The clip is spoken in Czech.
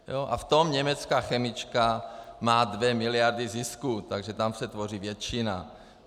A v tom německá chemička má dvě miliardy zisku, takže tam se tvoří většina.